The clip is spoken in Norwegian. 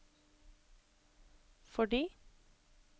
fordi